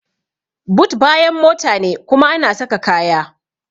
But bayan mota ne kuma ana saka kaya.